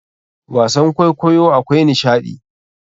Wasan kwaikwayo akwai nishaɗi.